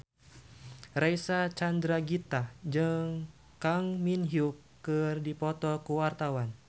Reysa Chandragitta jeung Kang Min Hyuk keur dipoto ku wartawan